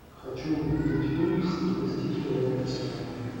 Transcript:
хочу увидеть фильм в стилистике лекция